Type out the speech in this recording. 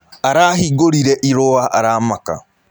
Arahĩngũrĩre ĩrũa aramaka